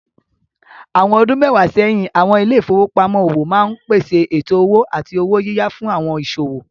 Àwọn ọdún mẹ́wàá sẹ́yìn, àwọn ilé ìfowópamọ́ òwò máa ń pèsè ètò owó àti owó yíyá fún àwọn ìsòwò.